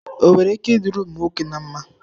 O nwere ike ịdirị ụmụ nwoke na mma?